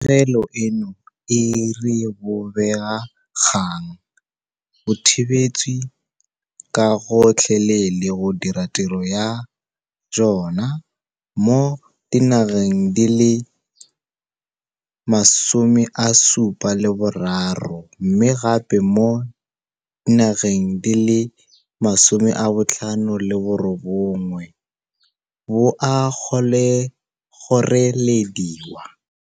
Pegelo eno e re bobega kgang bo thibetswe ka gotlhelele go dira tiro ya jona mo dinageng di le 73 mme gape mo dinageng di le 59 bo a kgorelediwa.